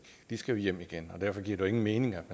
de skal hjem igen derfor giver det ingen mening at